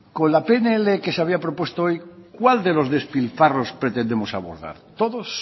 con la pnl que se había propuesto hoy cuál de los despilfarros pretendemos abordar todos